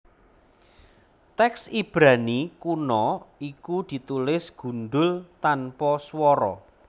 Tèks Ibrani kuna iku ditulis gundhul tanpa swara